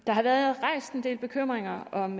har været rejst en del bekymringer om